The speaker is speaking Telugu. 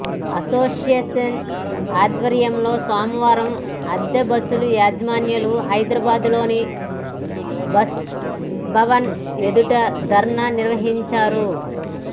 అసోసియేషన్ ఆధ్వర్యంలో సోమవారం అద్దె బస్సుల యజమానులు హైదరాబాద్లోని బస్భవన్ ఎదుట ధర్నా నిర్వహించారు